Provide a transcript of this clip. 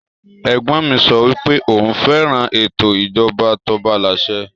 Ègbon mi so wípẹ́ oun féràn ètò ìjoba tobalàsẹ